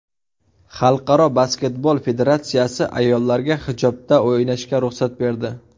Xalqaro basketbol federatsiyasi ayollarga hijobda o‘ynashga ruxsat berdi.